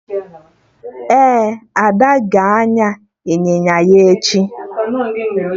Ee, Ada ga-anya ịnyịnya ígwè ya echi